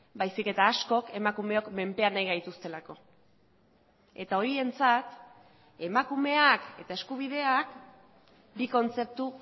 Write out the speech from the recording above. baizik eta askok emakumeok menpean nahi gaituztelako eta horientzat emakumeak eta eskubideak bi kontzeptu